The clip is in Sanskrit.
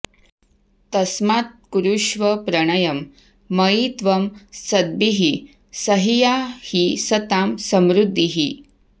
तस्मात्कुरुष्व प्रणयं मयि त्वं सद्भिः सहीया हि सतां समृद्धिः